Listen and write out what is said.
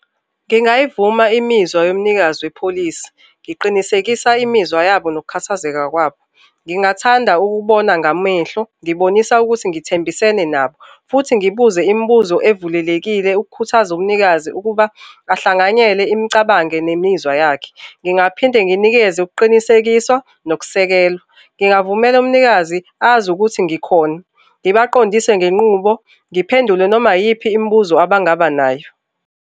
Ngingayivuma imizwa yomnikazi wepholisi, ngiqinisekisa imizwa yabo nokukhathazeka kwabo. Ngingathanda ukubona ngamehlo ngibonisa ukuthi ngithembisene nabo futhi ngibuze imibuzo evulelekile ukukhuthaza umnikazi ukuba ahlanganyele imicabango nemizwa yakhe. Ngingaphinde nginikeze ukuqinisekiswa nokusekelwa. Ngingavumela umnikazi azi ukuthi ngikhona ngibaqondise ngenqubo, ngiphendule noma iyiphi imibuzo abangaba nayo.